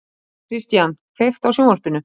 Kristian, kveiktu á sjónvarpinu.